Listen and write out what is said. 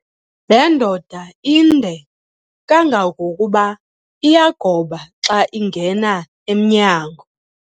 Le ndoda inde kangangokuba iyagoba xa ingena emnyango.